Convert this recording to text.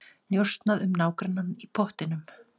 Njósnað um nágrannann í pottinum